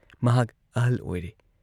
ꯃꯍꯥꯛ ꯑꯍꯜ ꯑꯣꯏꯔꯦ ꯫